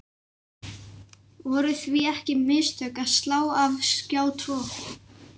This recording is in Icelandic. Voru því ekki mistök að slá af Skjá tvo?